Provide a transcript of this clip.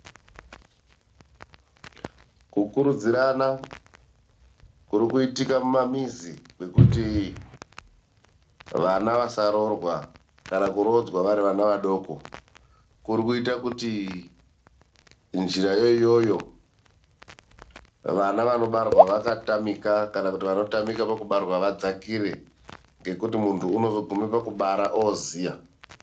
Kukurudzirana kurikuitika mumamizi kwekuti vana vasaroorwa kana kuroodzwa vari vana vadoko kuri kuite kuti njirayo iyoyo vana vanobarwa vakatamika kana kuti vanotamika pakubarwa vadzakire, ngekuti mundu unozogume pakubara ooziya.